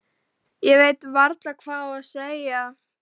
Ég veit varla hvað skal segja.